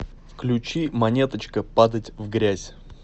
включи монеточка падать в грязь